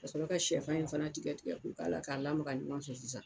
Ka sɔrɔ ka shɛfan in fana tigɛ tigɛ ko k'ala ka lamaga ɲɔgɔn fɛ sisan.